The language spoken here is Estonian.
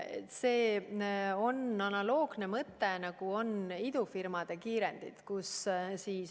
See on analoogne mõte, nagu on idufirmade kiirendi.